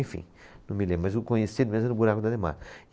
Enfim, não me lembro, mas o conhecido mesmo era o Buraco do Ademar.